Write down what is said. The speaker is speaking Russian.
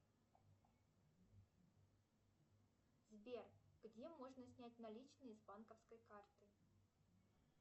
сбер где можно снять наличные с банковской карты